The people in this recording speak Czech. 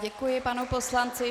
Děkuji panu poslanci.